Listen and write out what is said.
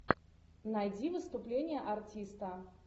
найди выступление артиста